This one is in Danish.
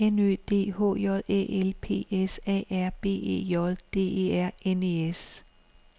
N Ø D H J Æ L P S A R B E J D E R N E S